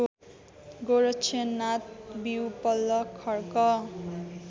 गोरक्षनाथ विउपल्ल खर्क